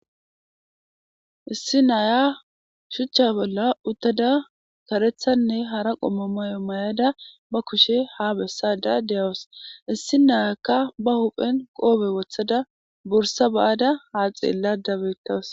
issi naya shuchcha bolla uttada karethanne hara qommomayo may7ada ba kushe ha bessada de7awus issi nayakka ba huphen qoobe wothada bursa ba7ada haa xeella dabetawus